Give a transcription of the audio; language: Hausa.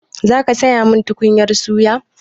Za ka sayo min tukunyar suya?